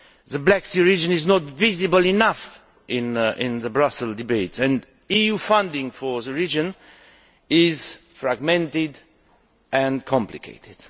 The Black Sea region is not visible enough in debates in Brussels, and EU funding for the region is fragmented and complicated.